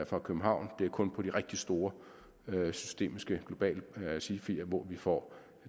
fra københavn det er kun til de rigtig store systemiske globale sifier vi får